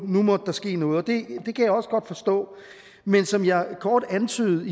nu måtte der ske noget og det kan jeg også godt forstå men som jeg kort antydede